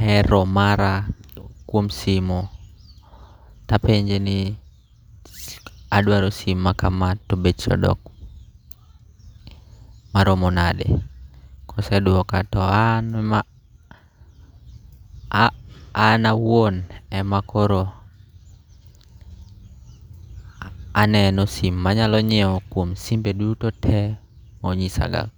hero mara kuom simo, tapenje ni adwaro sim ma kama to beche odok maromo nade. Kosedwoka to an awuon ema koro aneno sim manyalo nyiewo kuom simbe duto monyisaga go.